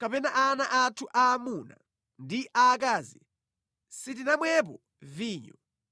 kapena ana athu aamuna ndi aakazi sitinamwepo vinyo